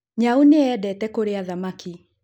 Nyau nĩyendete kũrĩa thamaki